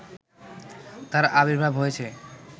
তার আবির্ভাব হয়েছে